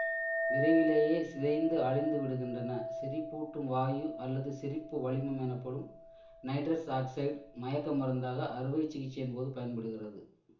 விரைவிலேயே சிதைந்து அழிந்து விடுகின்றன சிரிப்பூட்டும் வாயு அல்லது சிரிப்பு வளிமம் எனப்படும் நைட்ரஸ் ஆக்சைடு மயக்க மருந்தாக அறுவை சிகிச்சையின் போது பயன்படுகிறது